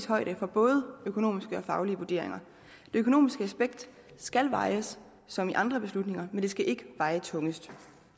højde for både økonomiske og faglige vurderinger det økonomiske aspekt skal vejes som i andre beslutninger men det skal ikke veje tungest